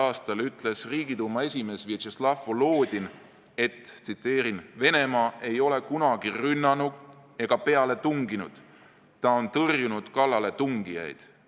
a ütles Riigiduuma esimees Vjatšeslav Volodin: "Venemaa ei ole kunagi rünnanud ega peale tunginud, ta on tõrjunud kallaletungijaid.